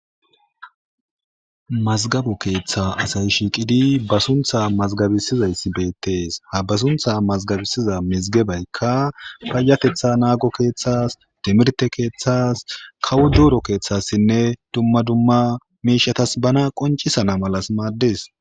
mazgabo keeththa asay shiiqidi ba suntha mazgabisizayssi beettees ha ba suntha mazgabisiza mizgebaykka payatetha naago keeththas dimirte keeththas kawo duuro keeththassinne dumma dumma miishatas bana qoncisana malas maaddes